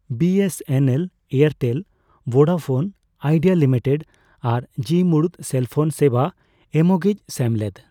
BSNL, Airtel, Vodafone Idea limited ᱟᱨ ᱡᱤ ᱢᱩᱬᱩᱫ ᱥᱮᱞ ᱯᱳᱱ ᱥᱮᱵᱟ ᱮᱢᱚᱜᱤᱡ ᱥᱮᱢᱞᱮᱫ ᱾